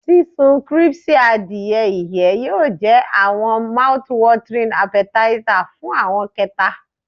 Sisun crispy adie iyẹ yoo jẹ awọn mouthwatering appetizer fun awọn kẹta.